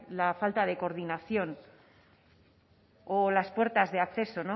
la falta de coordinación o las puertas de acceso